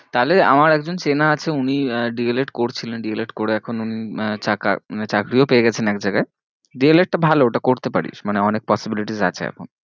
তাহলে আমার একজন চেনা আছে উনি আহ D. el. ed করছিলেন D. el. ed করে এখন উনি চাকা~ মানে চাকরিও পেয়ে গেছেন এক জায়গায় D. el. ed টা ভালো ওটা করতে পারিস মানে অনেক possibilities আছে এখন